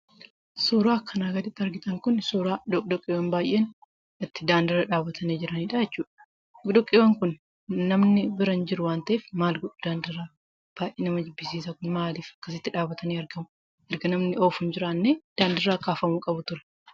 Suura kana irratti kan mul'atu doqdoqqeewwan baay'een dhaabbatanii kan jiranidha jechuudha. Doqdoqqeewwan Kun namoonni bira hin jiran, maal godhu daandii irraa? Erga namni oofu hin jiraannee daandii irraa ka'uu qabu ture.